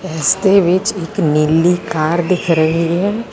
ਇਸ ਦੇ ਵਿੱਚ ਇੱਕ ਨੀਲੀ ਕਾਰ ਦਿਖ ਰਹੀ ਹੈ।